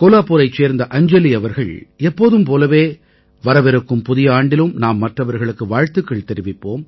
கோலாபூரைச் சேர்ந்த அஞ்ஜலி அவர்கள் எப்போதும் போலவே வரவிருக்கும் புதிய ஆண்டிலும் நாம் மற்றவர்களுக்கு வாழ்த்துக்கள் தெரிவிப்போம்